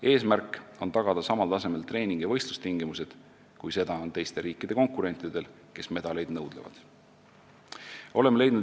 Eesmärk on tagada samal tasemel treeningu- ja võistlustingimused, kui on teiste riikide konkurentidel, kes medaleid nõudlevad.